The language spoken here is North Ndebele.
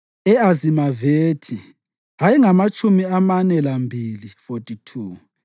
e-Azimavethi ayengamatshumi amane lambili (42),